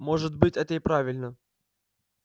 может быть это и правильно